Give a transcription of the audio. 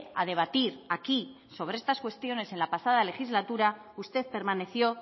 a debatir aquí sobre estas cuestiones en la pasada legislatura usted permaneció